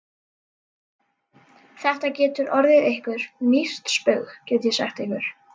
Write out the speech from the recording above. Þetta getur orðið ykkur dýrt spaug, get ég sagt ykkur!